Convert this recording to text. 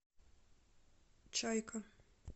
чайка